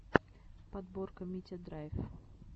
подборка митядрайв